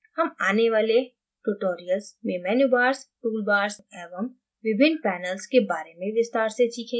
हम आने वाले tutorials में menu bars toolbars एवं विभिन्न panels के bars में विस्तार से सीखेगें